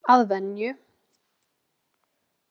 Að venju.